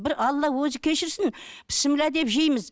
бір алла өзі кешірсін бісіміллә деп жейміз